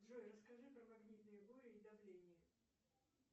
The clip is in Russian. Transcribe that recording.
джой расскажи про магнитные бури и давление